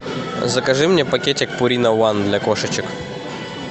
закажи мне пакетик пурина ван для кошечек